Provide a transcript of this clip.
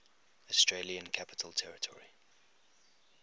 australian capital territory